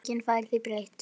Enginn fær því breytt.